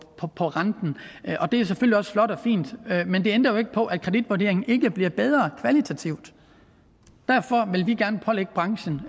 på renten og det er selvfølgelig også flot og fint men det ændrer jo ikke på at kreditvurderingen ikke bliver bedre kvalitativt derfor vil vi gerne pålægge branchen